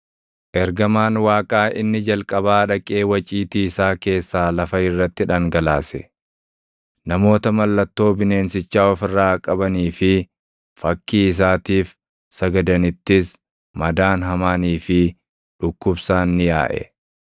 Ergamaan Waaqaa inni jalqabaa dhaqee waciitii isaa keessaa lafa irratti dhangalaase; namoota mallattoo bineensichaa of irraa qabanii fi fakkii isaatiif sagadanittis madaan hamaanii fi dhukkubsaan ni yaaʼe.